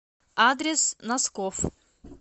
адрес носкофф